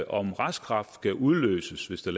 om reststraf skal udløses hvis der